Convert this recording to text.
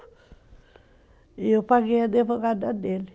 E eu paguei a advogada dele.